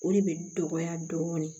O de bɛ dɔgɔya dɔɔnin